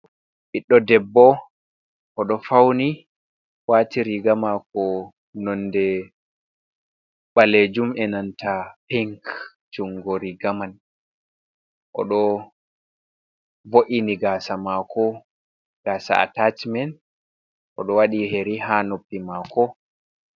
Ɓiɗdo debbo o do fauni wati riga mako nonde balejum'enanta pink jungo riga man oɗo vo’ini gasa mako gasa atachimen o ɗo waɗi yeri ha noppi mako.